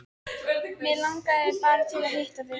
Mig langaði bara til að hitta þig.